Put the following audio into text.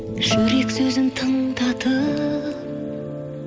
жүрек сөзін тыңдатып